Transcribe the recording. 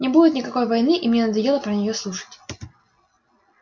не будет никакой войны и мне надоело про неё слушать